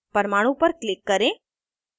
परमाणु पर click करें